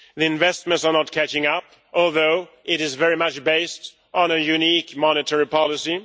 Investments are not catching up, although it is very much based on a unique monetary policy.